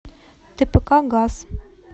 тпк газ